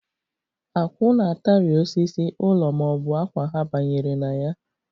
Akwụ na-atari osisi, ụlọ ma ọ bụ akwa ha banyere na ya.